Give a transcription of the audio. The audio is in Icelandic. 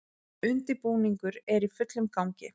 Undirbúningur er í fullum gangi